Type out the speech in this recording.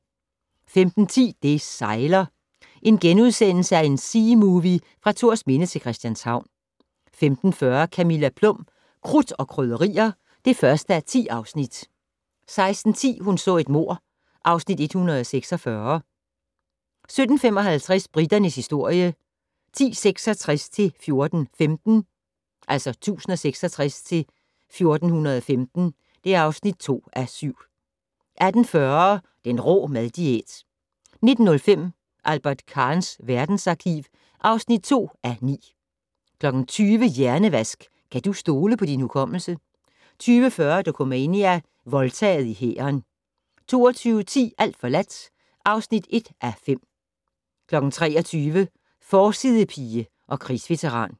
15:10: Det sejler - en seamovie fra Thorsminde til Christianshavn * 15:40: Camilla Plum - Krudt og Krydderier (1:10) 16:10: Hun så et mord (Afs. 146) 17:55: Briternes historie 1066-1415 (2:7) 18:40: Den rå mad-diæt 19:05: Albert Kahns verdensarkiv (2:9) 20:00: Hjernevask - kan du stole på din hukommelse? 20:40: Dokumania: Voldtaget i hæren 22:10: Alt forladt (1:5) 23:00: Forsidepige og krigsveteran